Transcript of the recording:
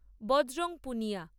Bajrang Punia